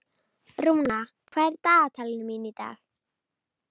Rúna, hvað er í dagatalinu mínu í dag?